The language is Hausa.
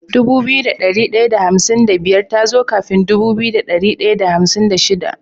Dubu biyu da dari daya da hamsin da biyar tazo kafin Dubu biyu da dari daya da hamsin da shida